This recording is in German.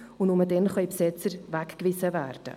Nur dann können Besetzer weggewiesen werden.